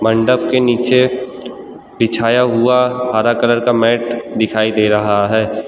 मंडप के नीचे बिछाया हुआ हरा कलर का मैट दिखाई दे रहा है।